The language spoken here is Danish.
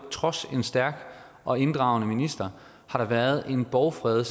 trods en stærk og inddragende minister været en borgfred